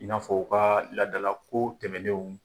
I n'a fɔ u ka ladalako tɛmɛnenw.